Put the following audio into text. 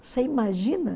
Você imagina?